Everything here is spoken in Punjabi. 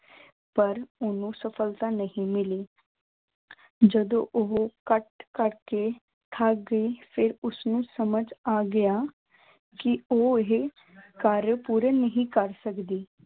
ਪਰ ਉਹਨੂੰ ਸਫ਼ਲਤਾ ਨਹੀਂ ਮਿਲੀ ਜਦੋਂ ਉਹ ਕਟ ਕਰਕੇ ਥੱਕ ਗਈ ਫਿਰ ਉਸਨੂੰ ਸਮਝ ਆ ਗਿਆ ਕਿ ਉਹ ਇਹ ਕਾਰਯ ਪੂਰਨ ਨਹੀਂ ਕਰ ਸਕਦੀ।